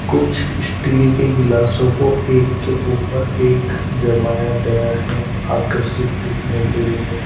कुछ स्टील के गिलासों को एक के ऊपर एक जमाया गया है आकर्षित दिखने के लिए।